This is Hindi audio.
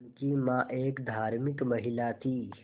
उनकी मां एक धार्मिक महिला थीं